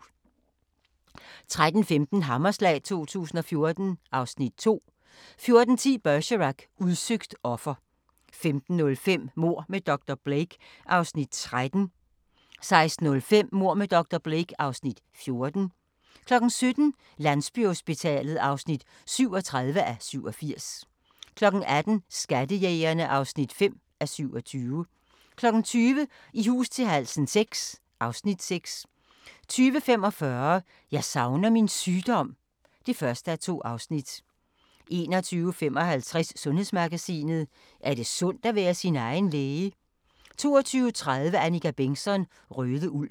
13:15: Hammerslag 2014 (Afs. 2) 14:10: Bergerac: Udsøgt offer 15:05: Mord med dr. Blake (Afs. 13) 16:05: Mord med dr. Blake (Afs. 14) 17:00: Landsbyhospitalet (37:87) 18:00: Skattejægerne (5:27) 20:00: I hus til halsen VI (Afs. 6) 20:45: Jeg savner min sygdom (1:2) 21:55: Sundhedsmagasinet: Er det sundt at være sin egen læge? 22:30: Annika Bengtzon: Røde Ulv